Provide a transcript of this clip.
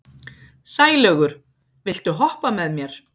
Sælaugur, viltu hoppa með mér?